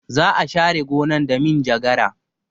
Za a share gonan da minjagara.